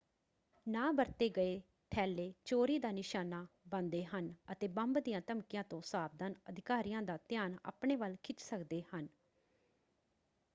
ਨਾ ਵਰਤੇ ਗਏ ਥੈਲੇ ਚੋਰੀ ਦਾ ਨਿਸ਼ਾਨਾ ਬਣਦੇ ਹਨ ਅਤੇ ਬੰਬ ਦੀਆਂ ਧਮਕੀਆਂ ਤੋਂ ਸਾਵਧਾਨ ਅਧਿਕਾਰੀਆਂ ਦਾ ਧਿਆਨ ਆਪਣੇ ਵੱਲ ਖਿੱਚ ਸਕਦੇ ਹਨ।